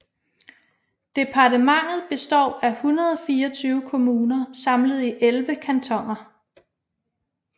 Departementet består af 124 kommuner samlet i 11 kantoner